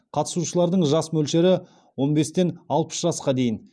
қатысушылардың жас мөлшері он бестен алпыс жасқа дейін